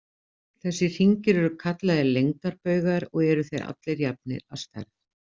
Þessir hringir eru kallaðir lengdarbaugar, og eru þeir allir jafnir að stærð.